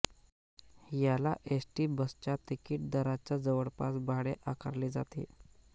याला एसटी बसच्या तिकीट दराच्या जवळपास भाडे आकारले जाते